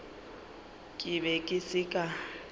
ke be ke se ka